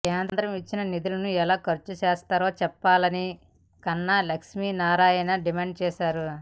కేంద్రం ఇచ్చిన నిధులను ఎలా ఖర్చు చేశారో చెప్పాలని కన్నా లక్ష్మినారాయణ డిమాండ్ చేశారు